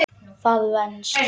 Það venst.